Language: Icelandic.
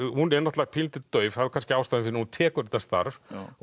hún er náttúrulega pínulítið dauf það er kannski ástæðan fyrir að hún tekur þetta starf